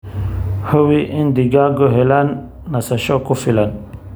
Hubi in digaaggu helaan nasasho ku filan.